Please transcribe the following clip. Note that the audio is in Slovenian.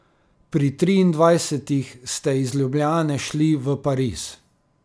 Pri triindvajsetih ste iz Ljubljane šli v Pariz.